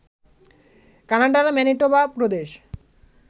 কানাডার ম্যানিটোবা প্রদেশ